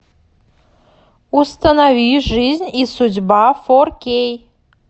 установи жизнь и судьба фор кей